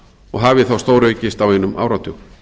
og hafi þá stóraukist á einum áratug